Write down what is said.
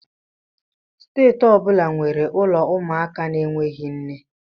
Steeti ọ bụla nwere ụlọ ụmụaka na-enweghị nne